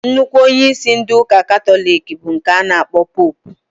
Nnukwu onyeisi ndị ụka katọlik bụ nke a kpọrọ poopụ